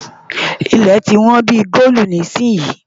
Ilẹ̀ tí wón bí i góòlu nísìnyín.